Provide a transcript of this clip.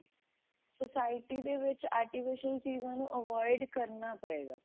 society ਦੇ ਵਿੱਚ artificial ਚੀਜ਼ਾਂ ਨੂੰ avoid ਕਰਨਾ ਪਵੇਗਾ